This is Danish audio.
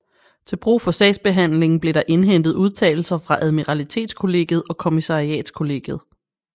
Til brug for sagsbehandlingen blev der indhentet udtalelser fra admiralitetskollegiet og kommissariatskollegiet